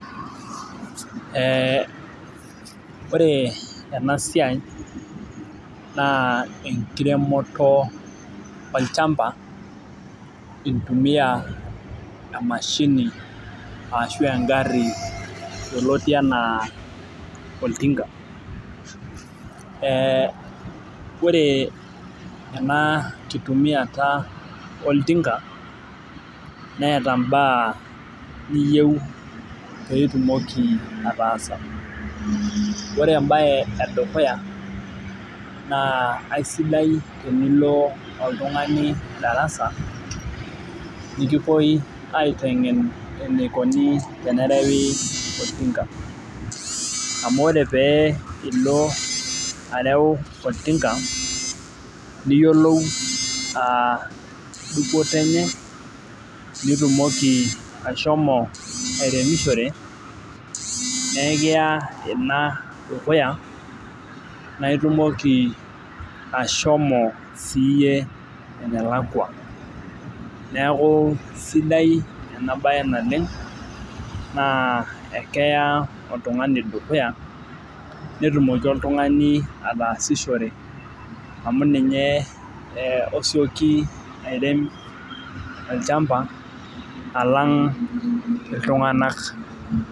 ee ore ena siai na enkiremoto olchamba itumia emashini, ashu engari yioloti ena oltinga ,ee ore ena kitumiata oltinga neeta imbaa niyieu pitumoki atasa, ore embae edukuya na tenilo oltungani darasa, nikipoi aitengen eningo tenireo oltinga, amu ore pee ilo areo oltinga niyiolou dupoto enye, nitumoki ashomo airemishore na ekiya ina dukuya, na itumoki ashomo sie ene lakua niaku esidai ena bae naleng na ekiya dukuya, netumoki oltungani atasishore, amu ninye osioki airem olchamba alang itunganak.